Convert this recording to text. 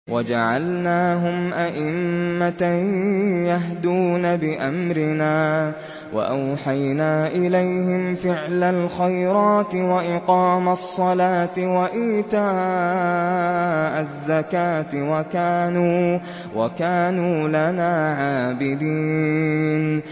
وَجَعَلْنَاهُمْ أَئِمَّةً يَهْدُونَ بِأَمْرِنَا وَأَوْحَيْنَا إِلَيْهِمْ فِعْلَ الْخَيْرَاتِ وَإِقَامَ الصَّلَاةِ وَإِيتَاءَ الزَّكَاةِ ۖ وَكَانُوا لَنَا عَابِدِينَ